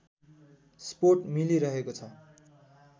support मिलिरहेको छ